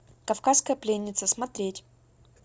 кавказская пленница смотреть